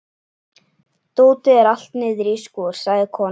Dótið er allt niðri í skúr, sagði konan.